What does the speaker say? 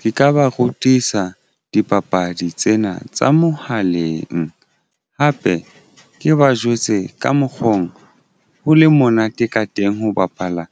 Ke ka ba rutisa dipapadi tsena tsa mohaleng hape ke ba jwetse ka mokgong ho le monate ka teng ho bapala